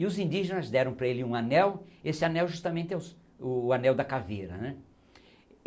E os indígenas deram para ele um anel, esse anel justamente é su o anel da caveira.